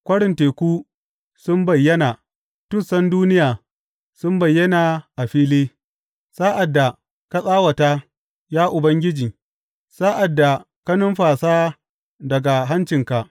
Kwarin teku sun bayyana tussan duniya sun bayyana a fili sa’ad da ka tsawata, ya Ubangiji, sa’ad da ka numfasa daga hancinka.